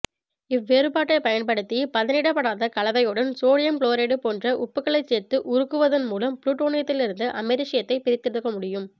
இவ்வேறுபாட்டைப் பயன்படுத்தி பதனிடப்படாத கலவையுடன் சோடியம் குளோரைடு போன்ற உப்புகளைச் சேர்த்து உருக்குவதன் மூலம் புளூட்டோனியத்திலிருந்து அமெரிசியத்தை பிரித்தெடுக்க முடியும்